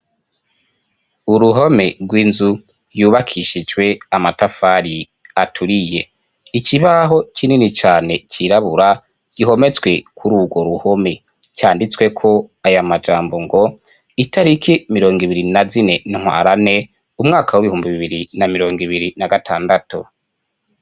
Uruhome rw'inzu yubakishijwe amatafari aturiye, ikibaho kinini cane cirabura gihometswe kuri urwo ruhome canditsweko aya majambo ngo itariki mirongo ibiri na zine ntwarante umwaka w'ibihumbi bibiri na mirongo ibiri na gatandatu.